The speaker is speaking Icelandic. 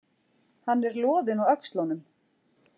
Hann er loðinn á öxlunum.